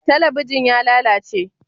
Talabijin ya lalace?